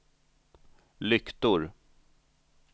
lyktor